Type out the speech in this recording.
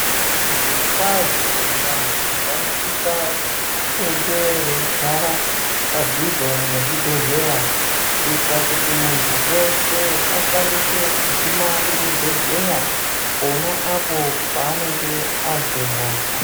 Zviro kwazvo vantu vano sisa kuendeyo vei gara pa dhuze ne zvibhedhlera kuitira kuti muntu weshe akwanise kuguma ku chibhedhleya pona apo paanenge azwe hosha.